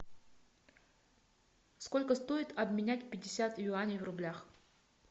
сколько стоит обменять пятьдесят юаней в рублях